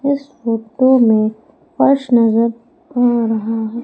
इस फोटो में फर्श नजर आ रहा है।